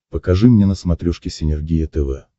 покажи мне на смотрешке синергия тв